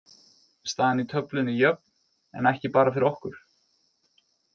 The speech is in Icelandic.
Staðan í töflunni er jöfn en ekki bara fyrir okkur.